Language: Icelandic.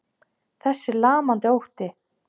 Þessi lamandi ótti.